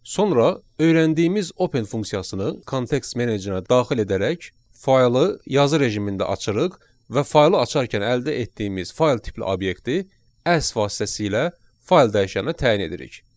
Sonra öyrəndiyimiz open funksiyasını kontekst menecerinə daxil edərək faylı yazı rejimində açırıq və faylı açarkən əldə etdiyimiz fayl tipli obyekti as vasitəsilə fayl dəyişəninə təyin edirik.